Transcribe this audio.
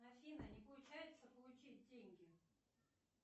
афина не получается получить деньги